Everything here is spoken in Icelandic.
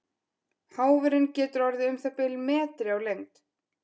Háfurinn getur orðið um það bil metri á lengd.